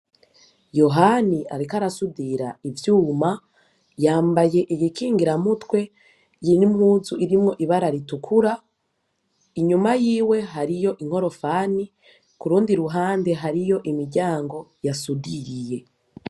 Yohani ariko arasudira ivyuma yambaye ibikingiramutwe n'impuzu irimwi ibara ritukura. Inyuma yiwe hariyo inkorofani, k'urundi ruhande hariyo umuryango yasudiriye.